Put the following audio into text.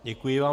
Děkuji vám.